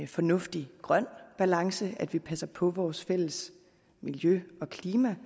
fornuftig grøn balance at vi passer på vores fælles miljø og klima